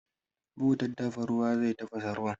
Butar dafa ruwa zai tafasa ruwan.